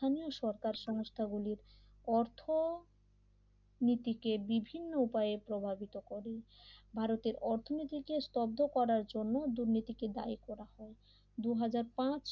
স্থানীয় সরকার সংস্থাগুলির অর্থ নীতিকে বিভিন্ন উপায়ের প্রভাবিত করি ভারতের অর্থনীতিকে স্তব্ধ করার জন্য দুর্নীতিকে দায়ী করা হয় দুই হাজার পাঁচ